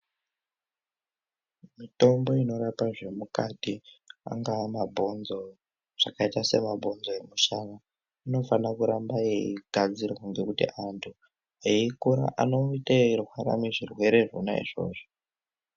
Mitombo inorapa zvemukati angaa mabhonzo, zvakaita semabhonzo emushana inofanira kuramba yeigadzirwa ngekuti antu eikura anoite eirwara ngezvirwere zvona izvozvo.